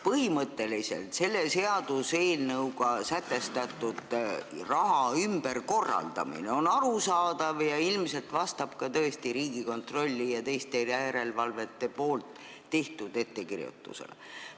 Põhimõtteliselt on selle seaduseelnõuga sätestatav raha ümberkorraldamine arusaadav ja vastab ilmselt tõesti ka Riigikontrolli ja teiste järelevalveasutuste tehtud ettekirjutusele.